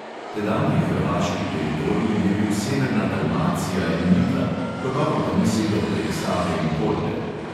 Tedanji hrvaški teritorij je bil severna dalmacija in lika, gotovo pa ni segal prek save in kolpe.